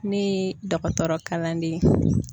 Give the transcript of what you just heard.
Ne dɔgɔtɔrɔkalanden ye.